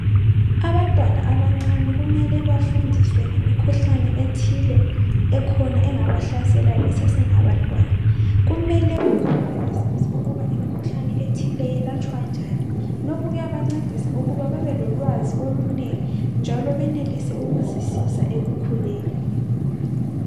Abantwana abancane kumele bafundiswe ngemikhuhlane ethile ekhona engabahlasela besasengabantwana, kumele bakhule besazi ukuba imkhuhlane ethile yelatshwa njani, lokhu kuyabancedisa ukuthi babelolwazi olunengi njalo benelise ukuzisiza ekukhuleni.